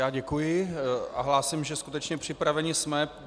Já děkuji a hlásím, že skutečně připraveni jsme.